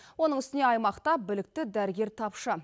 оның үстіне аймақта білікті дәрігер тапшы